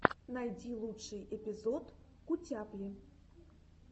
найди лучший эпизод кутяпли